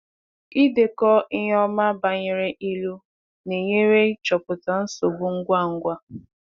Ịdekọ ihe ọma banyere ịlụ na-enyere ịchọpụta nsogbu ngwa ngwa